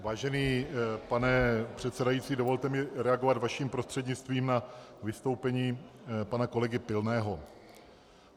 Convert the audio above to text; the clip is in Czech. Vážený pane předsedající, dovolte mi reagovat vaším prostřednictvím na vystoupení pana kolegy Pilného.